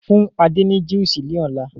Fún Adé ni Juísì ni ọ̀la!